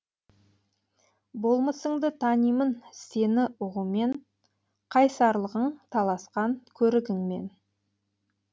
болмысыңды танимын сені ұғумен қайсарлығың таласқан көрігіңмен